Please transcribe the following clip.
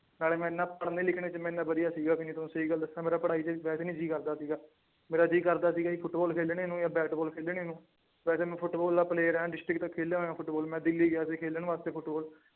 ਨਾਲੇ ਮੈਂ ਇੰਨਾ ਪੜ੍ਹਨੇ ਲਿਖਣੇ ਚ ਮੈਂ ਇੰਨਾ ਵਧੀਆ ਸੀਗਾ ਵੀ ਨੀ ਤੁਹਾਨੂੰ ਸਹੀ ਗੱਲ ਦੱਸਾਂ, ਮੇਰਾ ਪੜ੍ਹਾਈ ਚ ਵੈਸੇ ਨੀ ਜੀਅ ਕਰਦਾ ਸੀਗਾ, ਮੇਰਾ ਜੀਅ ਕਰਦਾ ਸੀਗਾ ਜੀ ਫੁਟਬਾਲ ਖੇਲਣੇ ਨੂੰ ਜਾਂ ਬੈਟਬਾਲ ਖੇਲਣੇ ਨੂੰ, ਵੈਸੇ ਮੈਂ ਫੁਟਬਾਲ ਦਾ player ਹਾਂ district ਤੱਕ ਖੈਲਿਆ ਹੋਇਆਂ ਫੁਟਬਾਲ ਮੈਂ ਦਿੱਲੀ ਗਿਆ ਸੀ ਖੇਲਣ ਵਾਸਤੇ ਫੁਟਬਾਲ।